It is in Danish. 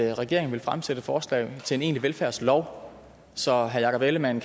regeringen vil fremsætte forslag til en egentlig velfærdslov så herre jakob ellemann